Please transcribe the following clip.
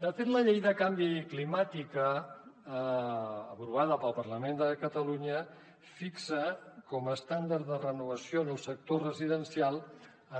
de fet la llei de canvi climàtic aprovada pel parlament de catalunya fixa com a estàndard de renovació en el sector residencial